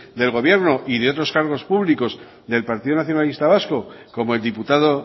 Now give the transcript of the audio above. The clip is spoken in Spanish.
del gobierno y de otros cargos públicos del partido nacionalista vasco como el diputado